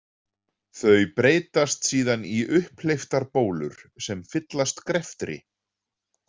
Þau breytast síðan í upphleyptar bólur sem fyllast greftri.